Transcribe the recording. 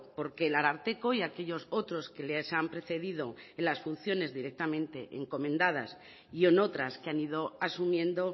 porque el ararteko y aquellos otros que les han precedido en las funciones directamente encomendadas y en otras que han ido asumiendo